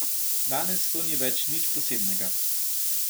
Danes to ni več nič posebnega.